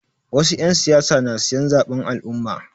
Wasu 'yan siyasa na siyan zaɓen al'umma.